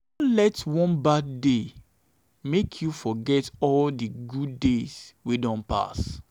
no let one bad day make you forget all di good days wey don pass.